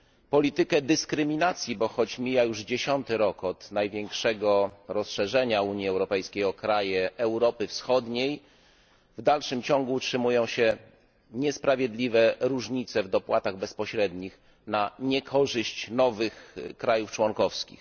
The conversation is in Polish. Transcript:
Politykę dyskryminacji, bo choć mija już dziesiąty rok od największego rozszerzenia Unii Europejskiej o kraje Europy Wschodniej, w dalszym ciągu utrzymują się niesprawiedliwe różnice w dopłatach bezpośrednich na niekorzyść nowych państw członkowskich.